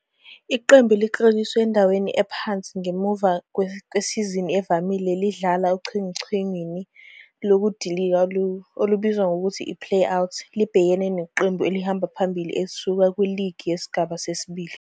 Iqembu elikleliswe endaweni ephansi ngemuva kwesizini evamile lidlala ochungechungeni lokudilika olubizwa ngokuthi i-Play-Out libhekene neqembu elihamba phambili elisuka kuligi yesigaba sesibili